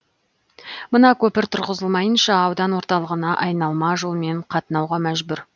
мына көпір тұрғызылмайынша аудан орталығына айналма жолмен қатынауға мәжбүр